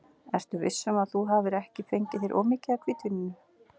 Ertu viss um að þú hafir ekki fengið þér of mikið af hvítvíninu?